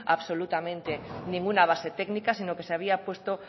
absolutamente ninguna base técnica sino que se había puesto